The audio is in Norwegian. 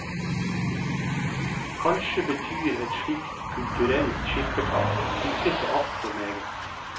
Kanskje betyr et slikt kulturelt skippertak ikke så alt for meget.